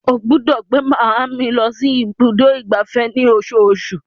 Ó gbọ́dọ̀ gbé máa mi lọ sí ibùdó ìgbafẹ́ ní osoosù.